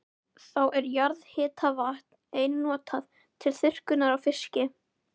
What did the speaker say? Þá er jarðhitavatn einnig notað til þurrkunar á fiski.